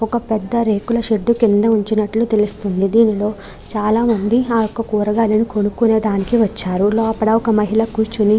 ఒక పెద్ద రేకుల షెడ్డు కింద ఉంచినట్లు తెలుస్తుంది. దీనిలో చాలామంది ఆ యొక్క కూరగాయలను కొనుక్కునే దానికి వచ్చారు. లోపల ఒక మహిళ కూర్చుని --